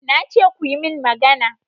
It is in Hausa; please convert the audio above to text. Na ce kuyi min magana!